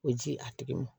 O ji a tigi ma